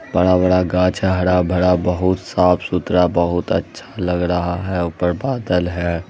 बड़ा-बड़ा घाच है हरा-भरा बहुत साफ़ सुधरा बहुत अच्छा लग रहा है उपर बादल है।